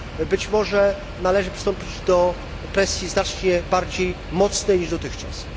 Być może należy przystąpić do presji znacznie bardziej mocnej niż dotychczas